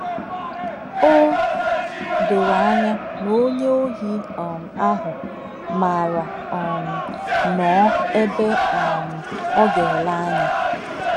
O doro anya na onye ohi um ahụ maara um nnọọ ebe um ọ ga-ele anya.